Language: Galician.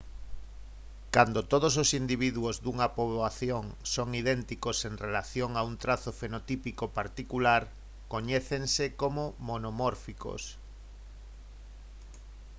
cando todos os individuos dunha poboación son idénticos en relación a un trazo fenotípico particular coñécense como monomórficos